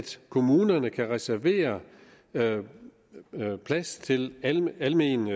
så kommunerne kan reservere plads til alment